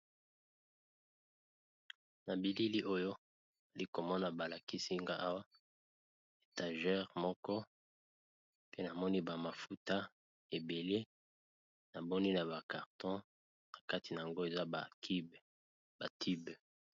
Na bilili oyo ali komona balakisinga awa etageure moko pe namoni bamafuta ebele na boni na bakarton na kati na yango eza ba tibe.